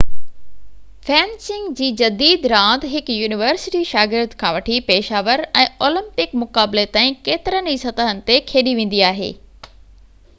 fencing جي جديد راند هڪ يونيورسٽي شاگرد کان وٺي پيشہ ور ۽ اولمپڪ مقابلي تائين ڪيترين ئي سطحن تي کيڏي ويندي آهي